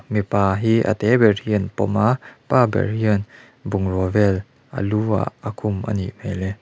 mipa hi a te ber hi an pawm a pa ber hian bungrua vel a lu ah a khum anih hmel e.